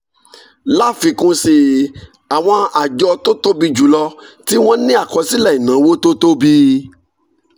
láfikún sí i àwọn àjọ tó tóbi jù lọ tí wọ́n ní àkọsílẹ̀ ìnáwó tó tóbi